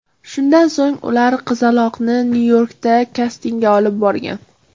Shundan so‘ng ular qizaloqni Nyu-Yorkka kastingga olib borgan.